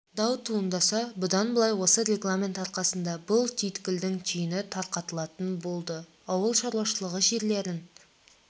дау туындаса бұдан былай осы регламент арқасында бұл түйткілдің түйіні тарқатылатын болды ауыл шаруашылығы жерлерін